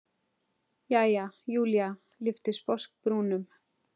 Jæja, Júlía lyfti sposk brúnum.